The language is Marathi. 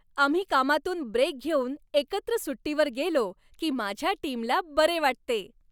आम्ही कामातून ब्रेक घेऊन एकत्र सुट्टीवर गेलो की माझ्या टीमला बरे वाटते.